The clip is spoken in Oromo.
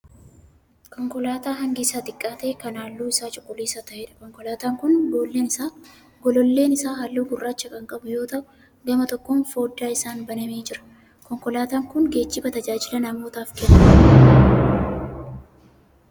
Konkolaataa hangi isaa xiqqaa ta'ee kan halluun isaa cuquliisa ta'eedha. Konkolaataan kun gololleen isaa halluu gurraacha kan qabu yoo ta'u gama tokkoon foddaan isaa banamee jira. Konkolaataan kun geejjiba tajaajila namootaaaf kennuudha.